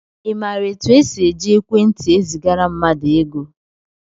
I maara etu e si eji ekwentị ezigara mmadụ ego?